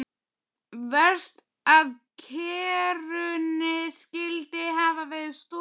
Verst að kerrunni skyldi hafa verið stolið.